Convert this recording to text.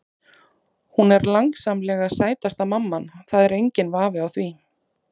Hún er langsamlega sætasta mamman, það er enginn vafi á því.